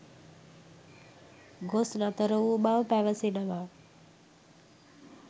ගොස් නතර වූ බව පැවසෙනවා.